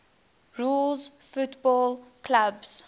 rules football clubs